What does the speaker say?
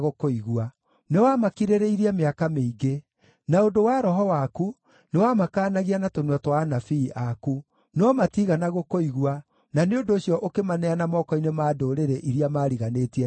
Nĩwamakirĩrĩirie mĩaka mĩingĩ. Na ũndũ wa Roho waku, nĩwamakaanagia na tũnua twa anabii aku. No matiigana gũkũigua, na nĩ ũndũ ũcio ũkĩmaneana moko-inĩ ma ndũrĩrĩ iria maariganĩtie nacio.